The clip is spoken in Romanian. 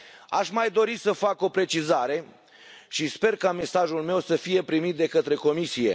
Aș mai dori să fac o precizare și sper ca mesajul meu să fie primit de către Comisie.